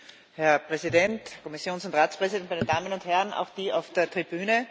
Herr Präsident, Kommission und Ratspräsident, meine Damen und Herren, auch die auf der Tribüne!